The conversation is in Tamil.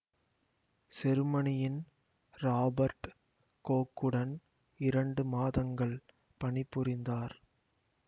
செருமனியின் ராபர்ட் கோக்குடன் இரண்டு மாதங்கள் பணி புரிந்தார்